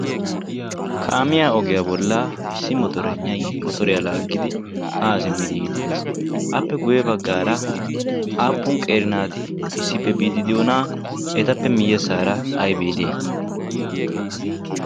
kaamiyaa ogiyaa bollaa issi motoragnai motoriyaa laaggidi haa simmidi yiiddi dees. appe guyye baggaara aappun qeeri naati issippe biiddi diyoonaa etappe miyyessaara aibee de7iyai?